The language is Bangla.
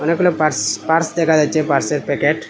অনেকগুলা পার্স পার্স দেখা যাচ্ছে পার্সের প্যাকেট ।